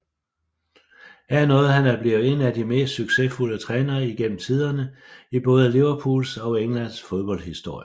Her nåede han at blive en af de mest succesfulde trænere igennem tiderne i både Liverpools og engelsk fodbolds historie